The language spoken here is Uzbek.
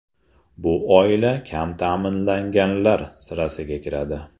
Bu oila kam ta’minlanganlar sirasiga kiradi.